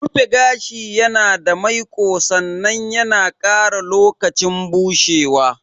Rufe gashi yana tare maiƙo sannan yana ƙara lokacin bushewa.